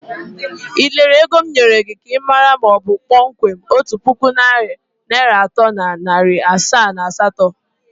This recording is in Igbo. Ị lelere ego m nyere gị ka ịmara ma ọ bụ kpọmkwem otu puku naịra atọ na iri asaa na asatọ?